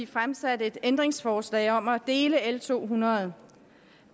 fremsat et ændringsforslag om at dele l to hundrede